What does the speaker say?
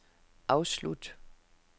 afslut